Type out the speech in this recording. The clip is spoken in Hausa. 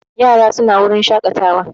Yaran su na wurin shaƙatawa